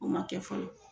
O ma kɛ fɔlɔ